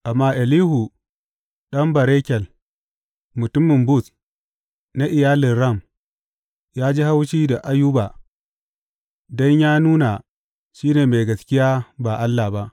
Amma Elihu ɗan Barakel mutumin Buz na iyalin Ram, ya ji haushi da Ayuba don yă nuna shi ne mai gaskiya ba Allah ba.